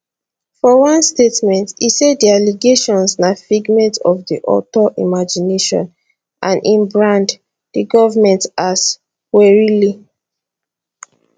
for one statement e say di allegations na figment of di author imagination and e brand di government as puerile